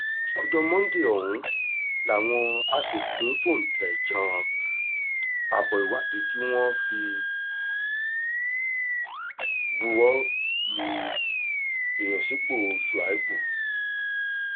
ọjọ́ monde ọ̀hún làwọn aṣòfin fóúntẹ̀ jan abo ìwádìí tí wọ́n sì buwọ́ lu ìyọnipọ̀ shuaïbù